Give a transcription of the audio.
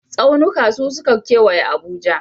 Tsaunuka su suka kewaye Abuja.